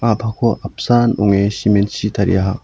a·pako apsan ong·e simen chi tariaha.